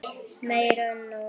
Meira en nóg.